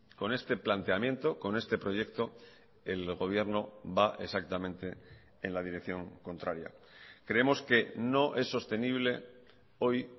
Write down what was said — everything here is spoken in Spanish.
con este planteamiento con este proyecto el gobierno va exactamente en la dirección contraria creemos que no es sostenible hoy